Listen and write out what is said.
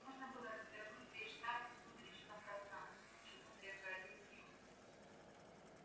можно было развернуть весь штаб в сумеречном пространстве но к чему зря тратить силы